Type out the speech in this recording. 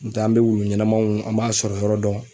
N be taa n be wulu ɲɛnɛmaw an b'a sɔrɔ yɔrɔ dɔn